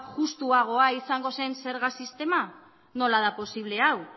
juxtuagoa izango zen zerga sistema nola da posible hau